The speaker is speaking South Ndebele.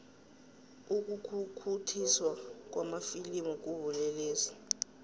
ukukhukhuthiswa kwamafilimu kubulelesi